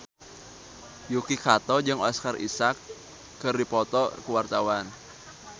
Yuki Kato jeung Oscar Isaac keur dipoto ku wartawan